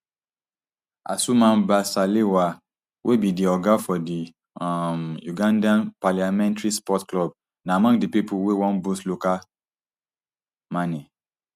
asuman basalirwa wey be di oga of di um ugandan parliamentary sports club na among di pipo wey wan boost local gmane